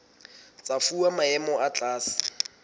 tsa fuwa maemo a tlase